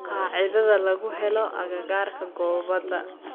qaacidada lagu helo agagaarka goobada